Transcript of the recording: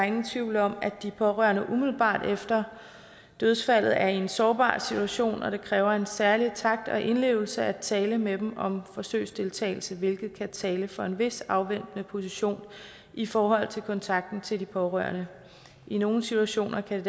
ingen tvivl om at de pårørende umiddelbart efter dødsfaldet er i en sårbar situation og det kræver en særlig takt og indlevelse at tale med dem om forsøgsdeltagelse hvilket kan tale for en vis afventende position i forhold til kontakten til de pårørende i nogle situationer kan